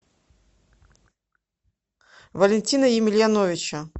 валентина емельяновича